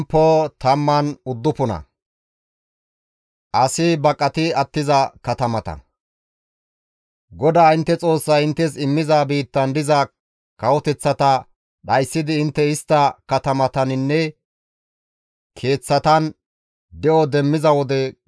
GODAA intte Xoossay inttes immiza biittan diza kawoteththata dhayssidi intte istta katamataninne keeththatan de7o doommiza wode,